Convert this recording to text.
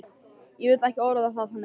Ég vil ekki orða það þannig.